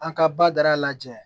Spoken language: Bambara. An ka ba da lajɛ